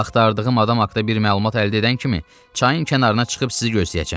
Axtardığım adam haqda bir məlumat əldə edən kimi çayın kənarına çıxıb sizi gözləyəcəm.